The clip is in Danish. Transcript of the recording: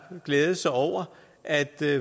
glædet sig over at der